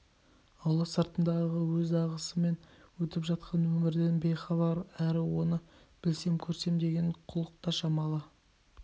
аула сыртындағы өз ағысымен өтіп жатқан өмірден бейхабар әрі соны білсем көрсем деген құлық та шамалы